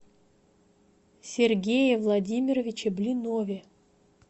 сергее владимировиче блинове